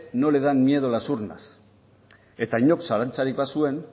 no le da miedo las urnas eta inork zalantzarik bazuen